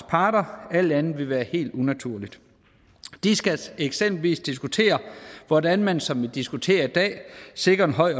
parter alt andet ville være helt unaturligt de skal eksempelvis diskutere hvordan man sådan som vi diskuterer i dag sikrer en høj